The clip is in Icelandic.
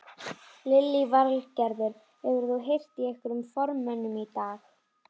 Lillý Valgerður: Hefur þú heyrt í einhverjum formönnum í dag?